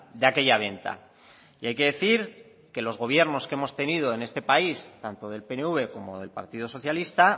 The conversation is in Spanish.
de aquella venta y hay que decir que los gobiernos que hemos tenido en este país tanto del pnv como del partido socialista